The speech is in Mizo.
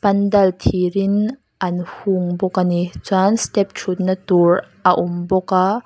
pandal thir in an hung bawk ani chuan step ṭhutna tur a awm bawk a.